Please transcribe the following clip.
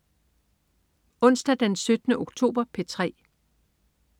Onsdag den 17. oktober - P3: